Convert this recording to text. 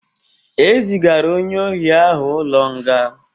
E zigara onye ohị ahụ ụlọ nga